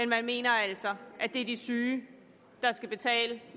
man mener altså at det er de syge der skal betale